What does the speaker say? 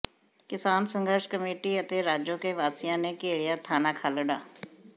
ਕਿਸਾਨ ਸੰਘਰਸ਼ ਕਮੇਟੀ ਅਤੇ ਰਾਜੋਕੇ ਵਾਸੀਆਂ ਨੇ ਘੇਰਿਆ ਥਾਣਾ ਖਾਲੜਾ